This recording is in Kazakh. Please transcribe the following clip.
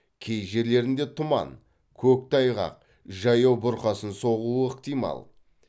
кей жерлерінде тұман көктайғақ жаяу бұрқасын соғуы ықтимал